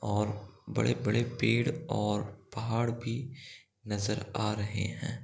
और बड़े बड़े पेड़ और पहाड़ भी नजर आ रहे हैं ।